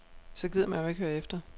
Så gider man jo ikke høre efter.